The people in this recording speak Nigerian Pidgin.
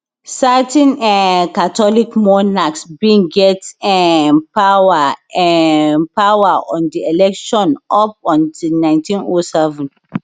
certain um catholic monarchs bin get um power um power on di election up until nineteen o seven